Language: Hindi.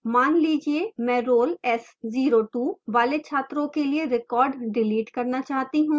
मान लीजिए मैं roll s02 वाले छात्रों के लिए record डिलीट करना चाहती हूँ